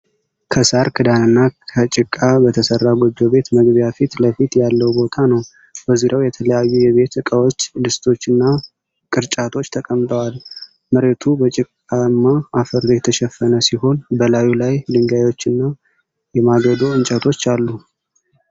ከሳር ክዳንና ከጭቃ በተሠራ ጎጆ ቤት መግቢያ ፊት ለፊት ያለው ቦታ ነው። በዙሪያው የተለያዩ የቤት እቃዎች፣ ድስቶችና ቅርጫቶች ተቀምጠዋል። መሬቱ በጭቃማ አፈር የተሸፈነ ሲሆን፣ በላዩ ላይ ድንጋዮችና የማገዶ እንጨቶች አሉ።